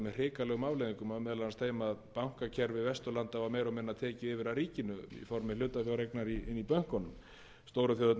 hrikalegum afleiðingum og meðal annars þeim að bankakerfi vesturlanda var meira og minna tekið yfir af ríkinu í formi hlutafjáreignar inni í bönkunum stóru þjóðirnar gátu